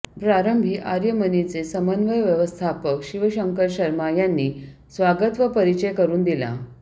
प्रारंभी आर्यमनीचे समन्वय व्यवस्थापक शिवशंकर शर्मा यांनी स्वागत व परिचय करून दिला